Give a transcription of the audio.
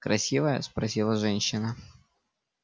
красивая спросила женщина